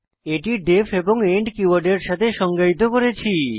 এটি ডিইএফ এবং এন্ড কীওয়ার্ডের সাথে সংজ্ঞায়িত হয়েছে